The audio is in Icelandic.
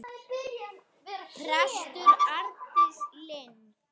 Prestur Arndís Linn.